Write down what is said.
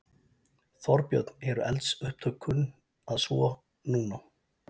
Þorbjörn: Eru eldsupptök kunn að svo. núna?